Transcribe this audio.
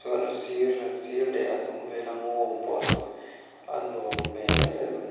sir leh a hnung vel a ngaw awm pawh saw a nuam hmel em em a ni.